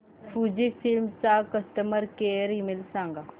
Fujifilm चा customer care email सांगा